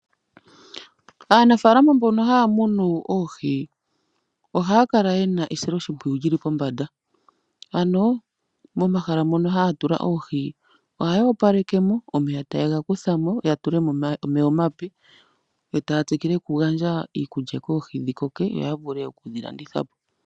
Aanafalama mbono haya munu oohi ohaya kala yena esilo shimpwiyu lyili pombanda. Ano mo mahala mono haya tula oohi ohaya opaleke mo omeya taye ga kuthamo ya tulemo omeya omapyu etaya tsikile oku gandja iikulya koohi dhi koke ya vule okudhi landitha po.